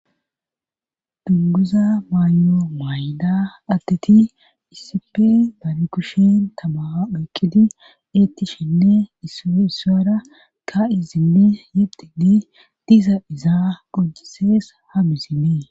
dunguza maayo maay7ida atteti isipi bare kushen tama oyqqidi eetti shenne is isara ka izinne yeddinne disa izaa qocisees hamizinee